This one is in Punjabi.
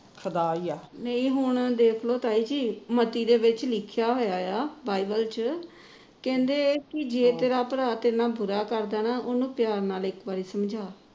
ਇਹੀ ਹੁਣ ਦੇਖਲੋ ਤਾਈ ਜੀ ਮਤੀ ਦੇ ਵਿਚ ਲਿਖਿਆ ਹੋਇਆ ਆ ਬਾਇਬਲ ਚ ਕਹਿੰਦੇ ਜੇ ਤੇਰਾ ਭਰਾ ਤੇਰੇ ਨਾਲ ਬੁਰਾ ਕਰਦਾ ਨਾ ਉਹਨੂੁੰ ਪਿਆਰ ਨਾਲ ਇੱਕ ਵਾਰ ਸਮਝਾ